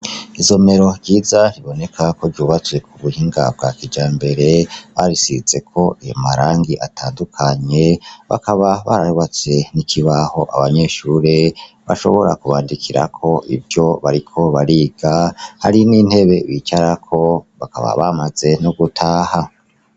Isomero ryiza, biboneka ko ryubatswe ku buhinga bwa kijambere, bararisizeko amarangi atandukanye bakaba barubatse n'ikibaho abanyeshure bashobora kubandikirako ivyo bariko bariga, hari n'intebe bicarako, bakaba bamaze no gutaha.